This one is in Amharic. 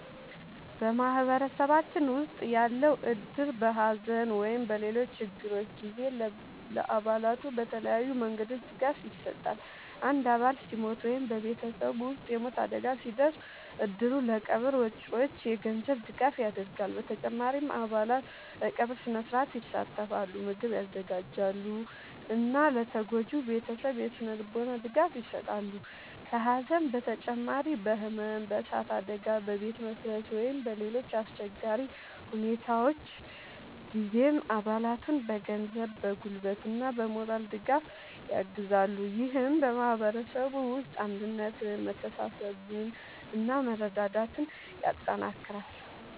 በማህበረሰባችን ውስጥ ያለው እድር በሐዘን ወይም በሌሎች ችግሮች ጊዜ ለአባላቱ በተለያዩ መንገዶች ድጋፍ ይሰጣል። አንድ አባል ሲሞት ወይም በቤተሰቡ ውስጥ የሞት አደጋ ሲደርስ፣ እድሩ ለቀብር ወጪዎች የገንዘብ ድጋፍ ያደርጋል። በተጨማሪም አባላት በቀብር ሥነ-ሥርዓት ይሳተፋሉ፣ ምግብ ያዘጋጃሉ እና ለተጎጂው ቤተሰብ የሥነ-ልቦና ድጋፍ ይሰጣሉ። ከሐዘን በተጨማሪ በሕመም፣ በእሳት አደጋ፣ በቤት መፍረስ ወይም በሌሎች አስቸጋሪ ሁኔታዎች ጊዜም አባላቱን በገንዘብ፣ በጉልበት እና በሞራል ድጋፍ ያግዛል። ይህም በማህበረሰቡ ውስጥ አንድነትን፣ መተሳሰብን እና መረዳዳትን ያጠናክራል።